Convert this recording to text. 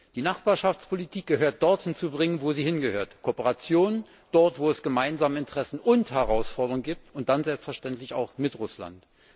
Die Nachbarschaftspolitik muss dorthin gebracht werden, wo sie hingehört Kooperation, dort wo es gemeinsame Interessen und Herausforderungen gibt, und dann selbstverständlich auch mit Russland.